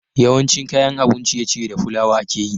yawancin kayan abun ciye ciye da fulawa ake yi